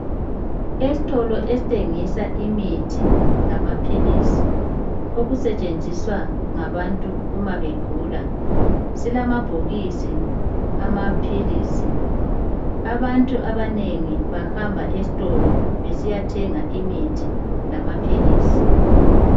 Estolo esthengisa imithi lamaphilisi okusetshenziswa ngabantu uma begula .Silama bhokisi amaphilisi .Abantu abanengi bahamba estolo besiyathenga imithi lamaphilisi .